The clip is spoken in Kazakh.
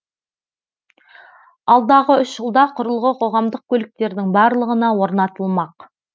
алдағы үш жылда құрылғы қоғамдық көліктердің барлығына орнатылмақ